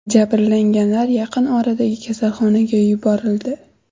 Jabrlanganlar yaqin oradagi kasalxonaga yuborildi.